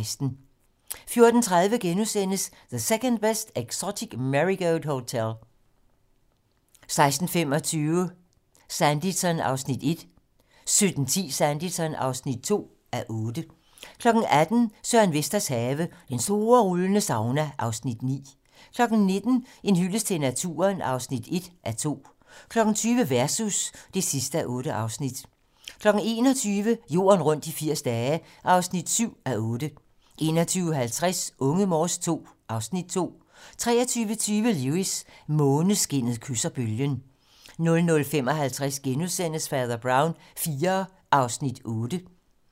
14:30: The Second Best Exotic Marigold Hotel * 16:25: Sanditon (1:8) 17:10: Sanditon (2:8) 18:00: Søren Vesters have - Den store rullende sauna (Afs. 9) 19:00: En hyldest til naturen (1:2) 20:00: Versus (8:8) 21:00: Jorden rundt i 80 dage (7:8) 21:50: Unge Morse II (Afs. 2) 23:20: Lewis: Måneskinnet kysser bølgen 00:55: Fader Brown IV (8:15)*